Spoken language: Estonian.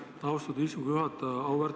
Aitäh, austatud istungi juhataja!